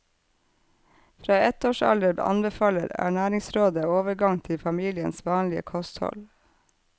Fra ett års alder anbefaler ernæringsrådet overgang til familiens vanlige kosthold.